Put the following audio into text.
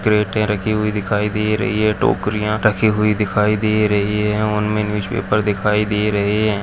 क्रेटे रखी हुई दिखाई दे रही है टोकरियां रखी हुई दिखाई दे रही हैं उनमें न्यूजपेपर दिखाई दे रहे है।